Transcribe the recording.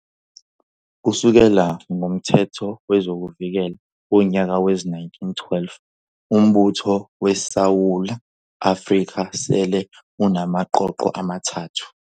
Kusukela ngomThetho wezokuVikela womnyaka we-1912, uMbutho weSewula Afrika sele unamaqoqo amathathu.